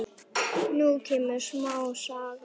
Nú kemur smá saga.